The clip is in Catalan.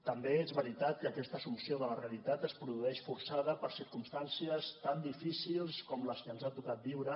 també és veritat que aquesta assumpció de la realitat es produeix forçada per circumstàncies tan difícils com les que ens ha tocat viure